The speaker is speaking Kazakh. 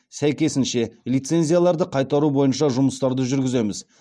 сәйкесінше лицензияларды қайтару бойынша жұмыстарды жүргіземіз